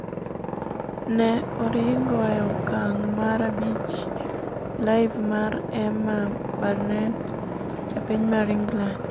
ne oringo e okang' mar abich Live mar Emma Barnett e piny mar England